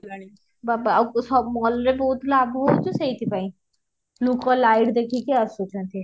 ବାବା ଆଉ ସବୁ mall ରେ ବହୁତ ଲାଭ ହଉଛି ସେଇଥିପାଇଁ ଲୋକ light ଦେଖିକି ଆସୁଛନ୍ତି